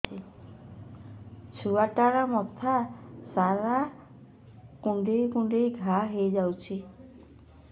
ଛୁଆଟାର ମଥା ସାରା କୁଂଡେଇ କୁଂଡେଇ ଘାଆ ହୋଇ ଯାଇଛି